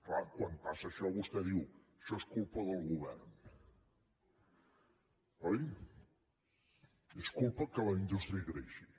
clar quan passa això vostè diu això és culpa del govern oi és culpa que la indústria creixi